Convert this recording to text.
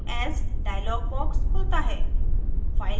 save as dialog box खुलता है